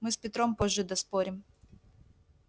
мы с петром позже доспорим